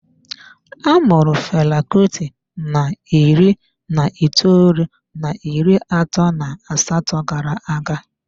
A mụrụ Fela Kuti na iri na itoolu na iri atọ na asatọ gara-aga.